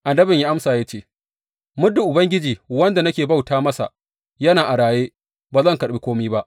Annabin ya amsa ya ce, Muddin Ubangiji wanda nake bauta masa yana a raye, ba zan karɓi kome ba.